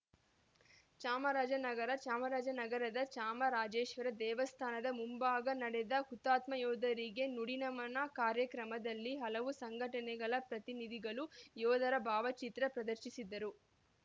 ಚಾಮರಾಜನಗರ ಚಾಮರಾಜನಗರದ ಚಾಮರಾಜೇಶ್ವರ ದೇವಸ್ಥಾನದ ಮುಂಭಾಗ ನಡೆದ ಹುತಾತ್ಮ ಯೋಧರಿಗೆ ನುಡಿನಮನ ಕಾರ್ಯಕ್ರಮದಲ್ಲಿ ಹಲವು ಸಂಘಟನೆಗಳ ಪ್ರತಿನಿಧಿಗಳು ಯೋಧರ ಭಾವಚಿತ್ರ ಪ್ರದರ್ಶಿಸಿದರು